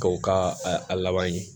K'o ka a laban ye